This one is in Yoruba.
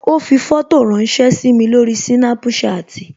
Ó fi fótò ránsẹ́ sími lórí Snapchat